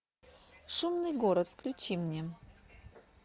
шумный город включи мне